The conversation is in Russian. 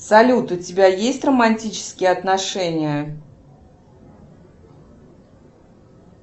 салют у тебя есть романтические отношения